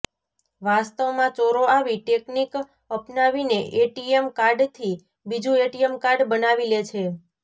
વાસ્તવમાં ચોરો આવી ટેકનીક અપનાવીને એટીએમ કાર્ડથી બીજું એટીએમ કાર્ડ બનાવી લે છે